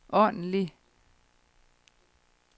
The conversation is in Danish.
ordentlig